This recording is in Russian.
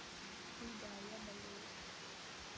и да я болею